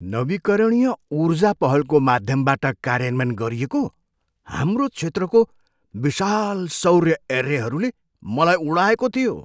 नवीकरणीय ऊर्जा पहलको माध्यमबाट कार्यान्वयन गरिएको हाम्रो क्षेत्रको विशाल सौर्य एर्रेहरूले मलाई उडाएको थियो।